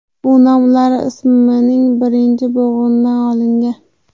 Bu nom ular ismining birinchi bo‘g‘inidan olingan.